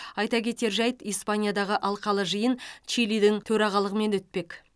айта кетер жайт испаниядағы алқалы жиын чилидің төрағалымен өтпек